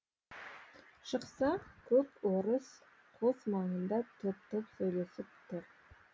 шықса көп орыс қос маңында топ топ сөйлесіп тұр